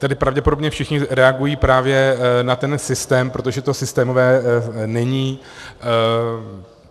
Tady pravděpodobně všichni reagují právě na ten systém, protože to systémové není.